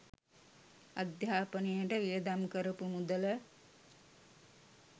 අධ්‍යාපනයට වියදම් කරපු මුදල